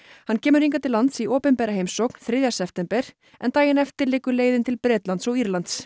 hann kemur hingað til lands í opinbera heimsókn þriðja september en daginn eftir liggur leiðin til Bretlands og Írlands